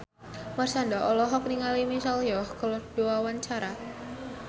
Marshanda olohok ningali Michelle Yeoh keur diwawancara